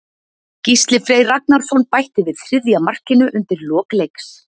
Gísli Freyr Ragnarsson bætti við þriðja markinu undir lok leiks.